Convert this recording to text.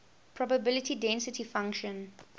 probability density function